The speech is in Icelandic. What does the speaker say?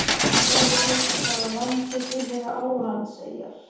Sjá einnig: Hvaða landi tilheyra Álandseyjar?